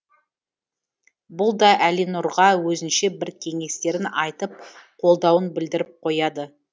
бұл да әлинұрға өзінше бір кеңестерін айтып қолдауын білдіріп қояды